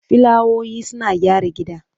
Filawoyi suna gyara gida.